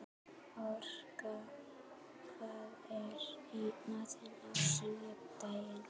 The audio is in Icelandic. Orka, hvað er í matinn á sunnudaginn?